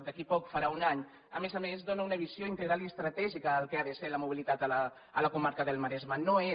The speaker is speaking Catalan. d’aquí a poc farà un any a més a més dóna una visió integral i estratègica del que ha de ser la mobilitat a la comarca del maresme no és